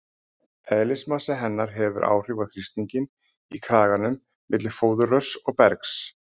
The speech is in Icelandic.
Eðlismassi hennar hefur áhrif á þrýstinginn í kraganum milli fóðurrörs og bergs.